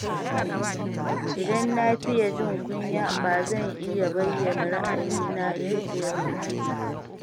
Idan na fiye jin kunya, ba zan iya bayyana ra’ayina yadda ya kamata ba.